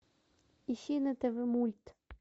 ищи на тв мульт